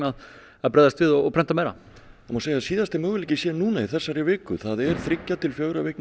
að bregðast við og prenta meira það má segja að síðasti möguleiki sé núna í þessari viku það er þriggja til fjögurra vikna